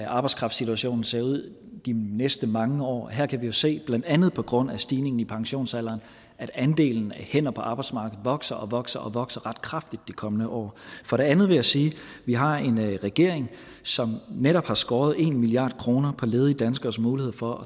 arbejdskraftsituationen ser ud de næste mange år her kan vi jo se blandt andet på grund af stigningen i pensionsalderen at andelen af hænder på arbejdsmarkedet vokser og vokser og vokser ret kraftigt de kommende år for det andet vil jeg sige at vi har en regering som netop har skåret en milliard kroner på ledige danskeres mulighed for at